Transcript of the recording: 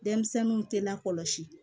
Denmisɛnninw tɛ lakɔlɔsi